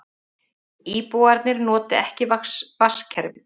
Íbúarnir noti ekki vatnskerfið